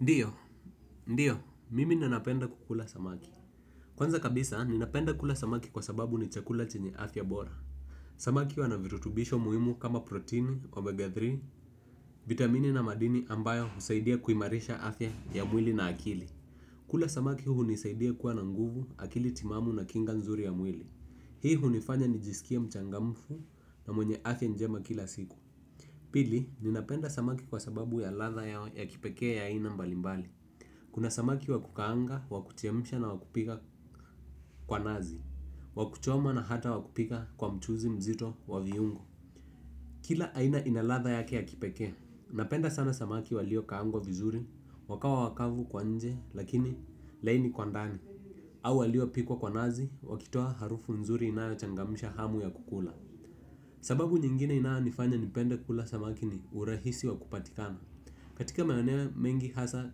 Ndiyo, ndiyo, mimi nanapenda kukula samaki kwanza kabisa ninapenda kula samakikwa sababu ni chakula chenye afya bora. Samaki wanavirutubisho muhimu kama proteini, omega tatu, vitamine na madini ambayo husaidia kuimarisha afya ya mwili na akili. Kula samaki huu nisaidia kuwa na nguvu, akili timamu na kinga nzuri ya mwili. Hii hunifanya nijisikie mchangamfu na mwenye afya njema kila siku. Pili, ninapenda samaki kwa sababu ya latha yao ya kipekee ya aina mbalimbali kuna samaki wa kukaanga wa kuchemsha na wa kupika kwa nazi. Wakuchoma na hata wakupika kwa mchuzi mzito wa viungo kila aina ina latha yake ya kipekee napenda sana samaki waliokaangwa vizuri wakawa wakavu kwa nje lakini laini kwa ndani au walio pikwa kwa nazi wakitoa harufu nzuri inayo changamisha hamu ya kukula. Sababu nyingine inayonifanya nipende kula samaki ni urahisi wa kupatikana. Katika maeneo mengi hasa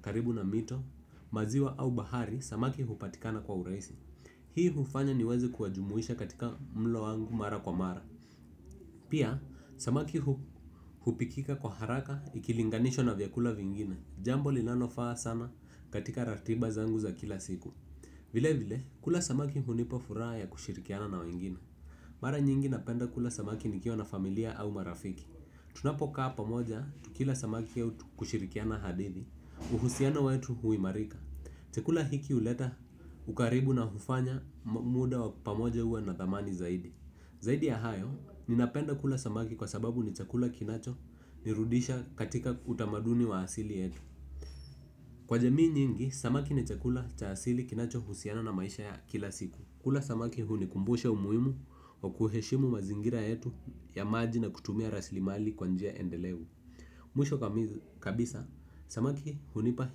karibu na mito, maziwa au bahari, samaki hupatikana kwa uraisi. Hii hufanya ni weze kuwajumuisha katika mlo wangu mara kwa mara. Pia, samaki hupikika kwa haraka ikilinganishwa na vyakula vingine. Jambo lilano faa sana katika ratiba zangu za kila siku. Vile vile, kula samaki hunipofuraa ya kushirikiana na wengine. Mara nyingi napenda kula samaki nikiwa na familia au marafiki. Tunapo kaa pamoja tukila samaki autu kushirikiana hadithi. Uhusiano wetu huimarika. Chakula hiki uleta ukaribu na hufanya muda wa pamoja uwe na thamani zaidi zaidi ya hayo ninapenda kula samaki kwa sababu ni chakula kinachonirudisha katika utamaduni wa asili yetu kwa jamii nyingi samaki ni chakula cha asili kinachohusiana na maisha ya kila siku kula samaki hunikumbusha umuhimu wa kuheshimu mazingira yetu ya maji na kutumia rasilimali kwa njia endelevu. Mwisho kabisa, samaki hunipa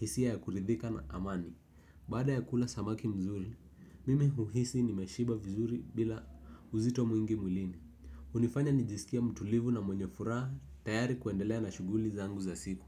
hisia ya kuridhika na amani. Bada ya kula samaki mzuri, mimi uhisi ni meshiba vizuri bila uzito mwingi mwilini. Unifanya nijisikie mtulivu na mwenye furaha tayari kuendelea na shuguli zangu za siku.